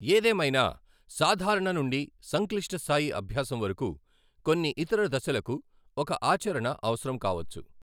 ఏదేమైనా సాధారణ నుండి సంక్లిష్ట స్థాయి అభ్యాసం వరకు కొన్ని ఇతర దశలకు ఒక ఆచరణ అవసరం కావచ్చు.